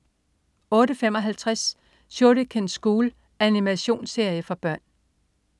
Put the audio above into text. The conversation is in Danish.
08.55 Shuriken School. Animationsserie for børn